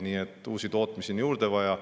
Nii et uusi tootmisi on juurde vaja.